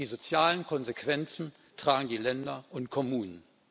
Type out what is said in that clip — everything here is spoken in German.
Die sozialen Konsequenzen tragen die Länder und Kommunen.